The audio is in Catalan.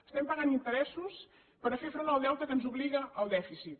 estem pagant interessos per fer front al deute que ens obliga el dèficit